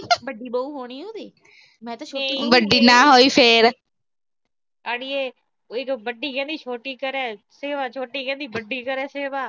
ਵੱਡੀ ਬਹੂ ਹੋਣੀ ਉਹਦੀ। ਅੜੀਏ ਵੱਡੀ ਕਹਿੰਦੀ, ਛੋਟੀ ਕਰੇ ਸੇਵਾ। ਛੋਟੀ ਕਹਿੰਦੀ, ਵੱਡੀ ਕਰੇ ਸੇਵਾ।